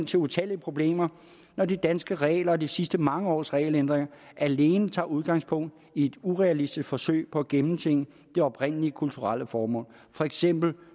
til utallige problemer når de danske regler og de sidste mange års regelændringer alene tager udgangspunkt i et urealistisk forsøg på at gennemtvinge det oprindelige kulturelle formål for eksempel